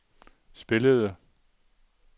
spillede